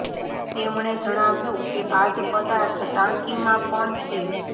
તેમણે જણાવ્યું કે આ જ પદાર્થ ટાંકીમાં પણ છે